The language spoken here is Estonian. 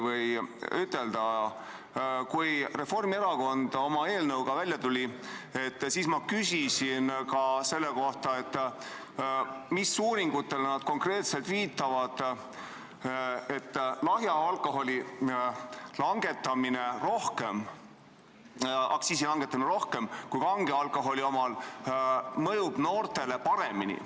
Kui Reformierakond oma eelnõuga välja tuli, siis ma küsisin ka selle kohta, mis uuringutele nad konkreetselt viitavad, kui väidavad, et lahja alkoholi aktsiisi langetamine rohkem kui kange alkoholi oma mõjub noortele paremini.